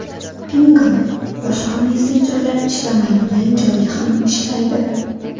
Pinngle boshqa messenjerlar ishlamaydigan joyda ham ishlaydi!